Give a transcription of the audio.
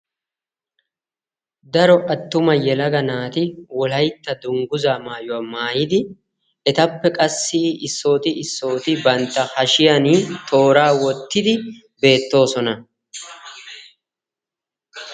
daro attuma yelaga naati wolaytta wogaa maayuwa dunguzza maayidi bantta hashiyanika toorra essidi ziiriyani eqidi beettosona.